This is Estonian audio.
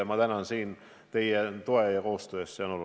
Ja ma tänan teid toe ja koostöö eest!